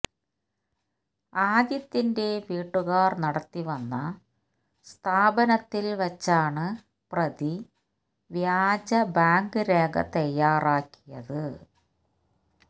ആദിത്യന്റെ വീട്ടുകാർ നടത്തിവന്ന സ്ഥാപനത്തിൽ വെച്ചാണ് പ്രതി വ്യാജ ബാങ്ക് രേഖ തയ്യാറാക്കിയത്